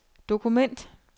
dokument